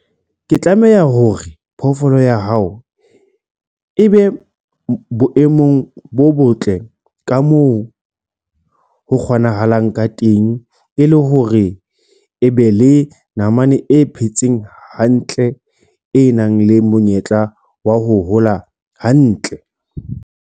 Ke tlameho hore phoofolo ya hao e be boemong bo botle ka moo ho kgonahalang ka teng e le hore e be le namane e phetseng hantle e nang le monyetla wa ho hola hantle.